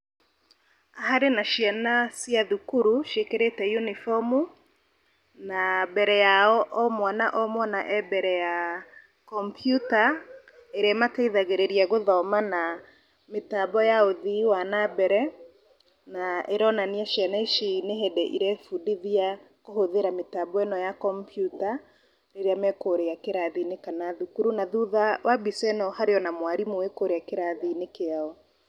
Harĩ na ciana cĩa thukuru, ciĩkĩrĩte unibomu, na mbere yao, o mwana, o mwana e mbere ya kompiuta , ĩrĩa ĩmateithagĩrĩria gũthoma na mĩtambo ya ũthii wa na mbere, na ĩronania ciana ici nĩ hĩndĩ irebundithia kũhũthĩra mĩtambo ĩno ya kompiuta rĩrĩa me kũrĩa kĩrathi-inĩ kana thukuru, na thutha wa mbica ĩno harĩ ona mwarimũ wĩ kũrĩa kirathi-inĩ kĩao.